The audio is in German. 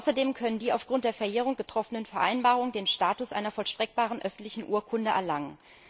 Außerdem können die aufgrund der Verjährung getroffenen Vereinbarungen den Status einer vollstreckbaren öffentlichen Urkunde erlangen.